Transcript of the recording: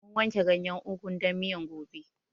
Mun wanke ganyen ugun dan miyan gobe